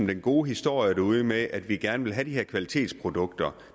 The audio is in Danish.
den gode historie derude med at vi gerne vil have de her kvalitetsprodukter